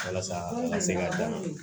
Walasa a ka se ka dan